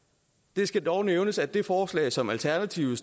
det skal dog nævnes at det forslag som alternativet